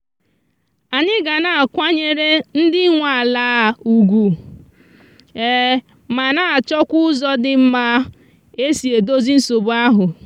anyị ga na akwa nyere ndi nwe ala ùgwù ma na achọkwa ụzọ dị mma e si edozi nsogbu ahụ.